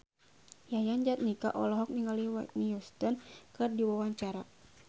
Yayan Jatnika olohok ningali Whitney Houston keur diwawancara